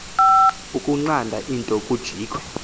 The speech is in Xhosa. ukunqanda into kujikwe